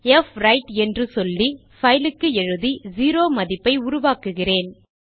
fwrite என்று சொல்லி file க்கு எழுதி செரோ மதிப்பை உருவாக்குகிறேன்